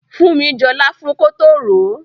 Funmi jọ láfún kótó ròó.